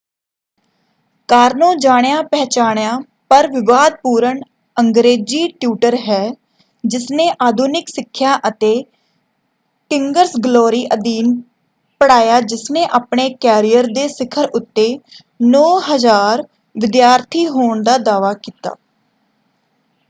ਕਾਰਨੋ ਜਾਣਿਆ-ਪਹਿਚਾਣਿਆ ਪਰ ਵਿਵਾਦਪੂਰਨ ਅੰਗਰੇਜੀ ਟਿਊਟਰ ਹੈ ਜਿਸਨੇ ਆਧੁਨਿਕ ਸਿੱਖਿਆ ਅਤੇ ਕਿੰਗਸ ਗਲੋਰੀ ਅਧੀਨ ਪੜ੍ਹਾਇਆ ਜਿਸਨੇ ਆਪਣੇ ਕੈਰੀਅਰ ਦੇ ਸਿਖਰ ਉੱਤੇ 9,000 ਵਿਦਿਆਰਥੀ ਹੋਣ ਦਾ ਦਾਅਵਾ ਕੀਤਾ।